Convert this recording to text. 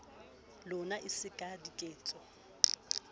lona e se ka diketso